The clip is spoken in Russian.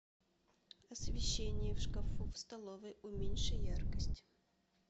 освещение в шкафу в столовой уменьши яркость